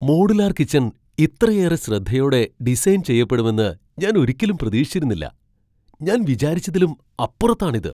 Modular kitchen ഇത്രയേറെ ശ്രദ്ധയോടെ design ചെയ്യപ്പെടുമെന്ന് ഞാൻ ഒരിക്കലും പ്രതീക്ഷിച്ചിരുന്നില്ല! ഞാൻ വിചാരിച്ചതിലും അപ്പുറത്താണ് ഇത് .